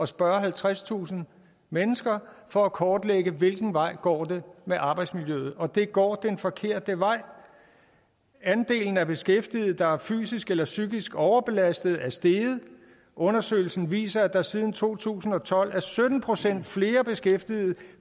spørge halvtredstusind mennesker for at kortlægge hvilken vej det går med arbejdsmiljøet og det går den forkerte vej andelen af beskæftigede der er fysisk eller psykisk overbelastede er steget undersøgelsen viser at der siden to tusind og tolv er sytten procent flere beskæftigede